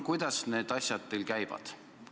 Kuidas need asjad teil käivad?